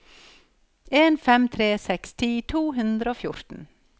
en fem tre seks ti to hundre og fjorten